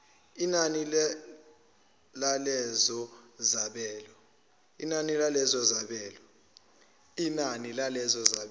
yinani lalezo zabelo